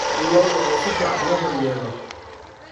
Lo�da oo si fiican loo daryeelo.